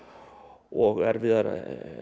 og erfiðar